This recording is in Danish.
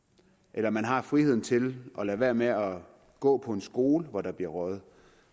eller man har friheden til at lade være med at gå på en skole hvor der bliver røget